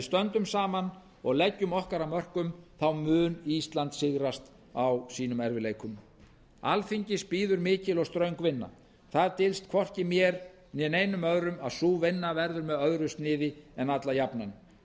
stöndum saman og leggjum okkar að mörkum mun ísland sigrast á sínum erfiðleikum alþingis bíður mikil og ströng vinna það dylst hvorki mér né öðrum að sú vinna verður með öðru sniði en alla jafna